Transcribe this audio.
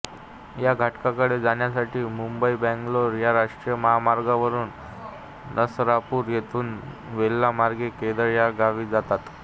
या घाटाकडे जाण्यासाठी मुंबईबंगलोर या राष्ट्रीय महामार्गावरून नसरापूर येथून वेल्हा मार्गे केळद या गावी जातात